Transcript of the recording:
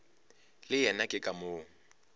le yena ke ka moo